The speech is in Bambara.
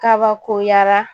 Kabakoyara